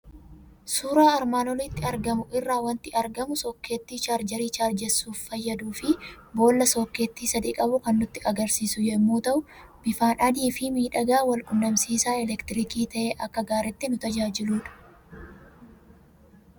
Suuraa armaan olitti argamu irraa waanti argamu sookkeetti chaarjeeri chaarjeessuuf fayyaduufi boolla sookkeetti sadii qabu kan nutti agarsiisu yommuu ta'u, bifaan adiifi miidhagaa Wal qunnamsiisaa elektirikii ta'ee akka gaariitti nu tajaajiludha.